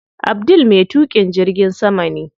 Abdul me tuƙin jirgin sama ne.